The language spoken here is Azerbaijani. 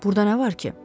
Burda nə var ki?